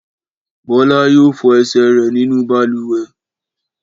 Bọ́lá yóò fọ ẹsẹ̀ rẹ̀ nínú balùwẹ̀.